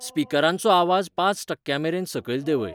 स्पीकरांचो आवाज पांच टक्क्यां मेरेन सकयल देंवय